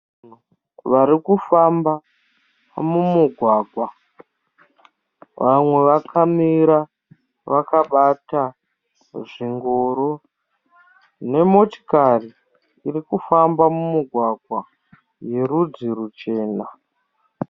Varikufamba mumugwagwa. Vamwe vakamira vakabata zvingoro nemotikari irikufamba mumugwagwa yerudzi chena.